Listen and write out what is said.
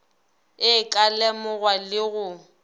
e ka lemogwa le go